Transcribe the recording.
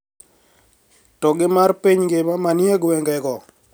To gi mar piny ngima ma nie gwenge go